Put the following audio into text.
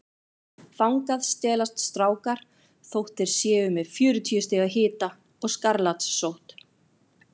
Þangað stelast strákar þótt þeir séu með fjörutíu stiga hita og skarlatssótt.